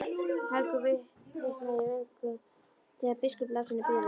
Helgu hitnaði í vöngum þegar biskup las henni bréfið.